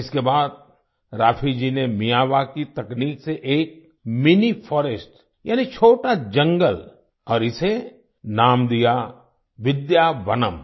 इसके बाद राफी जी ने मियावाकी तकनीक से एक मिनी फॉरेस्ट यानि छोटा जंगल और इसे नाम दिया विद्यावनम्